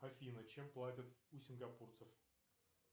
афина чем платят у сингапурцев